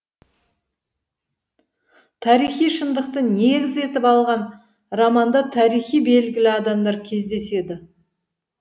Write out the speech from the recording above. тарихи шындықты негіз етіп алған романда тарихи белгілі адамдар кездеседі